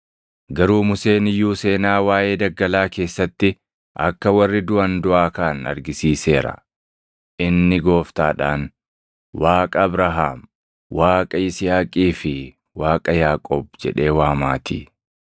Garuu Museen iyyuu seenaa waaʼee daggalaa keessatti akka warri duʼan duʼaa kaʼan argisiiseera; inni Gooftaadhaan, ‘Waaqa Abrahaam, Waaqa Yisihaaqii fi Waaqa Yaaqoob’ + 20:37 \+xt Bau 3:6\+xt* jedhee waamaatii.